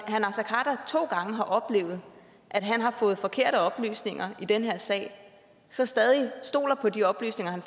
to gange har oplevet at han har fået forkerte oplysninger i den her sag så stadig stoler på de oplysninger